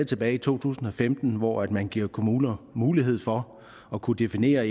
tilbage i to tusind og femten hvor man gav kommunerne mulighed for at kunne definere